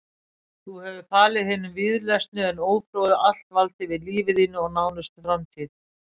Þú hefur falið hinum víðlesnu en ófróðu allt vald yfir lífi þínu og nánustu framtíð.